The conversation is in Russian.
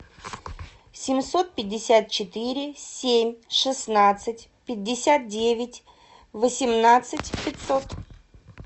семьсот пятьдесят четыре семь шестнадцать пятьдесят девять восемнадцать пятьсот